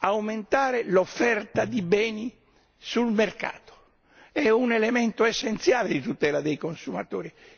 Aumentare l'offerta di beni sul mercato è un elemento essenziale di tutela dei consumatori.